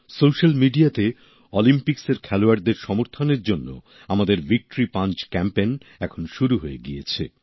social মিডিয়াতে অলিম্পিক্সের খেলোয়াড়দের সমর্থনের জন্য আমাদের ভিক্টরি পাঞ্চ ক্যাম্পেন এখন শুরু হয়ে গিয়েছে